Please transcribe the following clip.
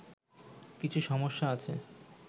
কিছু সমস্যা আছে